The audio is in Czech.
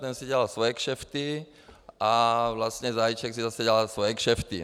Ten si dělal svoje kšefty a vlastně Zajíček si zase dělal svoje kšefty.